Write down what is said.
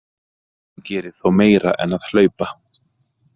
Hann gerir þó meira en að hlaupa.